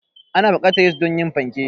Ana buƙatar yis don yin fanke.